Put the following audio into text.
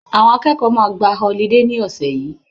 Àwọn akẹ́kọ̀ọ́ máa gba họlidé ní ọ̀sẹ̀ yìí